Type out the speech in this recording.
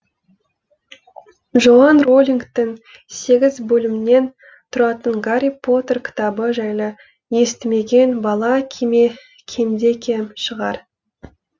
джоан роулингтің сегіз бөлімнен тұратын гарри поттер кітабы жайлы естімеген бала кемде кем шығар